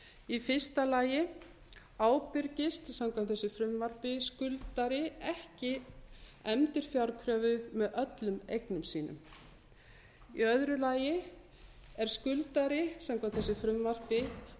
í fyrsta lagi ábyrgist samkvæmt þessu frumvarpi skuldari ekki endurfjárkröfu með öllum eignum sínum í öðru lagi er skuldari samkvæmt þessu frumvarpi